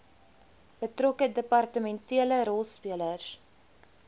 betrokke departementele rolspelers